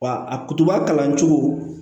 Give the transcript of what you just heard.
Wa a kutuba kalan cogo